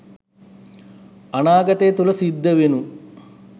අනාගතය තුල සිද්ධවෙනු